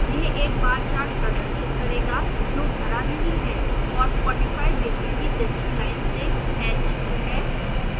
यह एक bar chart प्रदर्शित करेगा जो भरा नहीं है और 45 ° की तिरछी लाइन्स से हैच्ड है